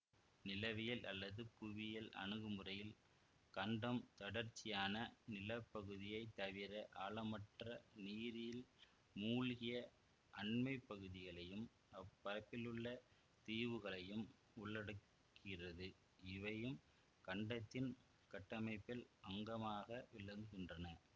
நிலவியல் அல்லது புவியியல் அணுகுமுறையில் கண்டம் தொடர்ச்சியான நிலப்பகுதியைத் தவிர ஆழமற்ற நீரில் மூழ்கிய அண்மைப்பகுதிகளையும் அப்பரப்பிலுள்ள தீவுகளையும் உள்ளடக்குகிறதுஇவையும் கண்டத்தின் கட்டமைப்பின் அங்கமாக விளங்குகின்றன